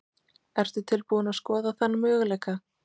Ertu tilbúin að skoða þann möguleika?